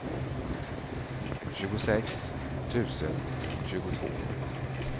tjugosex tusen tjugotvå